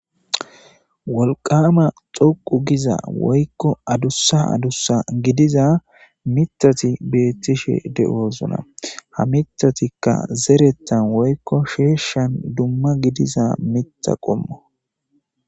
Wolqama xoqu giza woykko adussa adusa gidiza mitati beettishe de'oosona ha mitatikka zerettan woykko sheeshshan dumma gidiza mita qommo.